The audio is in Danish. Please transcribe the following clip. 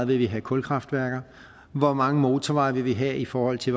vil have kulkraftværker hvor mange motorveje vil vi have i forhold til